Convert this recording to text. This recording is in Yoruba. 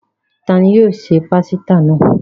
Ta ni yóò se pásítà náà?